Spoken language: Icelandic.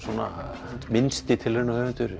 minnsti